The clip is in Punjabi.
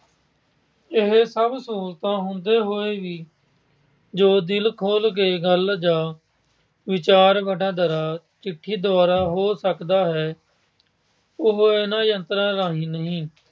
ਇਹ ਸਭ ਸਹੂਲਤਾਂ ਹੁੰਦੇ ਹੋਏ ਵੀ ਜੋ ਦਿਲ ਖੋਲ੍ਹ ਕੇ ਗੱਲ਼ ਜਾਂ ਵਿਚਾਰ-ਵਟਾਂਦਰਾ ਚਿੱਠੀ ਦੁਆਰਾ ਹੋ ਸਕਦਾ ਹੈ ਉਹ ਇਹਨਾਂ ਯੰਤਰਾਂ ਰਾਹੀਂ ਨਹੀਂ।